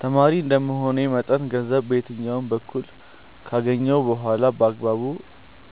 ተማሪ እንደመሆኔ መጠን ገንዘብ በየትኛውም በኩል ካገኘሁ በኋላ በአግባቡ